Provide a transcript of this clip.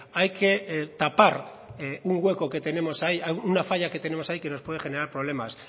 hay que tapar un hueco que tenemos ahí una falla que tenemos ahí que nos puede generar problemas